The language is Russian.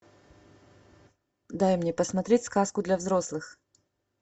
дай мне посмотреть сказку для взрослых